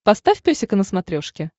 поставь песика на смотрешке